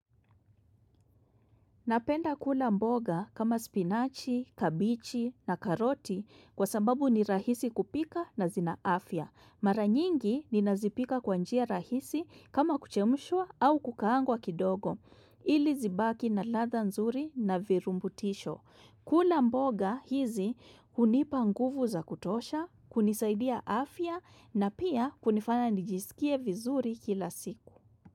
Napenda kula mboga kama spinachi, kabichi na karoti kwa sababu ni rahisi kupika na zina afya. Mara nyingi ninazipika kwa njia rahisi kama kuchemushwa au kukaangwa kidogo. Ili zibaki na ladha nzuri na virumbutisho. Kula mboga hizi hunipa nguvu za kutosha, kunisaidia afya na pia kunifanya nijisikie vizuri kila siku.